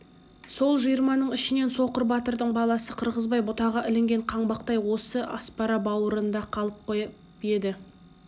сол жиырманың ішінен соқыр батырдың баласы қырғызбай бұтаға ілінген қаңбақтай осы аспара бауырында қалып қойып еді